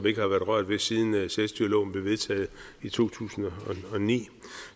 ikke har været rørt ved siden selvstyreloven blev vedtaget i to tusind og ni